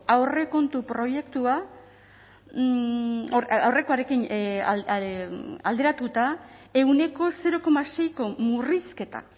aurrekontu proiektua aurrekoarekin alderatuta ehuneko zero koma seiko murrizketa